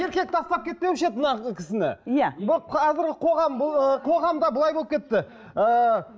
еркек тастап кетпеуші еді мына кісіні иә бұл қазіргі қоғам бұл ы қоғамда былай болып кетті ыыы